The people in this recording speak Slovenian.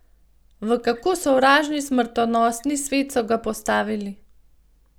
V kako sovražni smrtonosni svet so ga postavili!